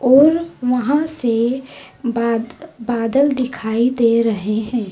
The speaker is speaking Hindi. और वहां से बाद बादल दिखाई दे रहे हैं।